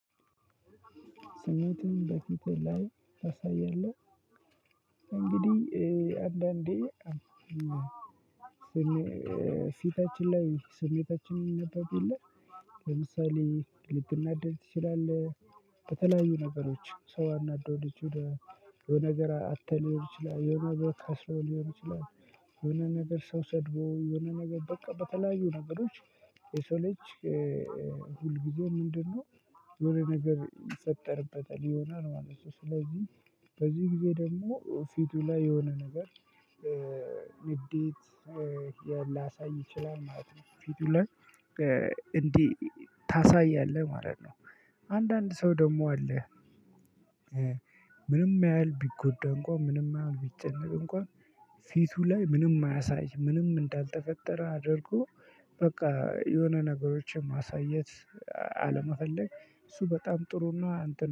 ስሜትህን በፊት ላይ ታሳያለህ? እንግዲህ አንዳንዴ ፊታችን ላይ ስሜታችን ይነበብ የለ ለምሳሌ ልትናደድ ትችላለህ በተለያዩ ነገሮች ሰው አናዶ የሆነ ነገር አተህ ሊሆን ይችላል የሆነ ነገር ከስረህ ሊሆን ይችላል። የሆነ ነገር ሰው ሰድቦህ የሆነ ነገር በቃ በተለያዩ ነገሮች የሰው ልጅ ሁል ጊዜ ምንድነው? የሆነ ነገር ይፈጠርበታል ይሆናል ማለት ነው። ስለዚህ በዚህ ጊዜ ደግሞ ፊቱ ላይ የሆነ ነገር ንዴት ሊያሳይ ይችላል ማለት ነው። ፊቱ ላይ እንዲህ ታሳያለህ ማለት ነው። አንዳንድ ሰው ደግሞ አለ። ምንም ያህል ቢጎዳ እንኳን ምንም ያህል ቢጨነቅ እንኳን ፊቱ ላይ ምንም አያሳይም ምንም እንዳልተፈጠረ አድርጎ። በቃ የሆነ ነገሮችን ማሳየት አለመፈለግ እሱ በጣም ጥሩ ነው።